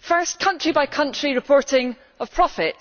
first, country by country reporting of profit